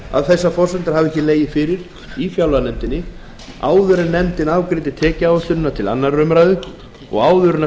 að þessar forsendur hafi ekki legið fyrir í fjárlaganefnd áður en nefndin afgreiddi tekjuáætlunina til annarrar umræðu og áður en